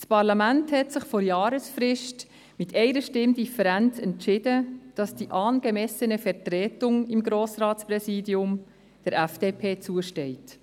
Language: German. Das Parlaments entschied sich vor Jahresfrist mit einer Stimme Differenz, dass «die angemessene Vertretung» im Grossratspräsidium der FDP zusteht.